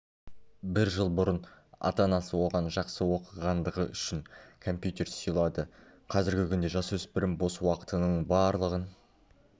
бір жыл бұрын ата-анасы оған жақсы оқығандығы үшін компьютер сыйлады қазіргі күнде жасөспірім бос уақытының барлығын